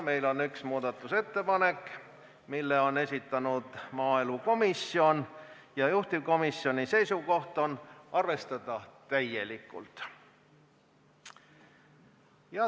Meil on üks muudatusettepanek, mille on esitanud maaelukomisjon, ja juhtivkomisjoni seisukoht on arvestada seda täielikult.